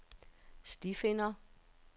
stifinder